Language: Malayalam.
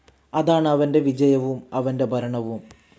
അതാണ് അവൻ്റെ വിജയവും അവൻ്റെ ഭരണവും.